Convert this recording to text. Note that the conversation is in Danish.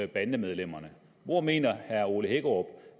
bandemedlemmerne hvor mener herre ole hækkerup